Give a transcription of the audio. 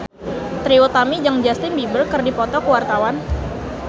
Trie Utami jeung Justin Beiber keur dipoto ku wartawan